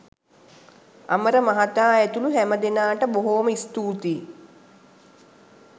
අමර මහතා ඇතුලු හැමදෙනාට බොහොම ස්තූතියි